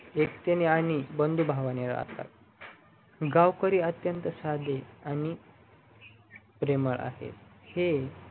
एकटीने आणि बंधुभावाणे राहतात गावकरी अत्यंत साधे आणि प्रेमळ आहेत हे